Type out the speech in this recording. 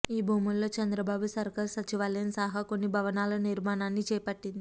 ఈ భూముల్లో చంద్రబాబు సర్కారు సచివాలయం సహా కొన్ని భవనాల నిర్మాణాన్ని చేపట్టింది